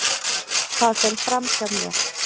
Það fer fram hjá mér.